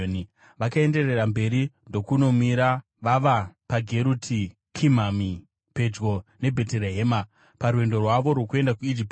Vakaenderera mberi ndokunomira vava paGeruti Kimihami pedyo neBheterehema parwendo rwavo rwokuenda kuIjipiti